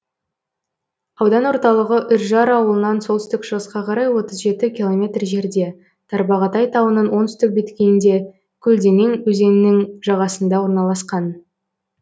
аудан орталығы үржар ауылынан солтүстік шығысқа қарай отыз жеті километр жерде тарбағатай тауының оңтүстік беткейінде көлденең өзенінің жағасында орналасқан